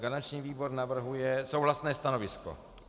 Garanční výbor navrhuje souhlasné stanovisko.